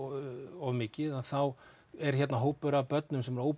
of mikið og þá er hérna hópur af börnum sem er